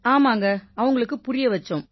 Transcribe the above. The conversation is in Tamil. ஆமாங்க அவங்களுக்குப் புரிய வைச்சோம்